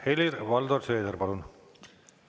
Helir-Valdor Seeder, palun!